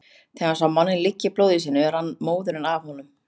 Þegar hann sá manninn liggja í blóði sínu rann móðurinn af honum.